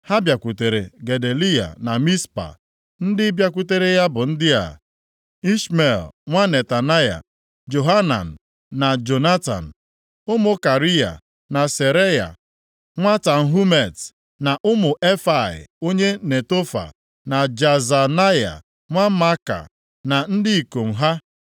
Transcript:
ha bịakwutere Gedaliya na Mizpa. Ndị bịakwutere ya bụ ndị a; Ishmel nwa Netanaya, Johanan na Jonatan ụmụ Kariya, na Seraya nwa Tanhumet, na ụmụ Efai onye Netofa, na Jaazanaya nwa Maaka, na ndị ikom ha.